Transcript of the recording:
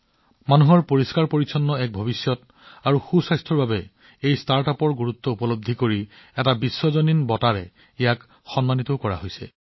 জনসাধাৰণৰ বাবে এক পৰিষ্কাৰ আৰু স্বাস্থ্যকৰ ভৱিষ্যতৰ বাবে এই ষ্টাৰ্টআপৰ গুৰুত্বৰ প্ৰতি লক্ষ্য ৰাখি এওলোকক এক গোলকীয় বঁটাও প্ৰদান কৰা হৈছে